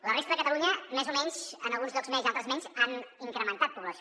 la resta de catalunya més o menys en alguns llocs més i en altres menys ha incrementat població